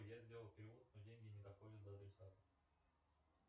я сделал перевод но деньги не доходят до адресата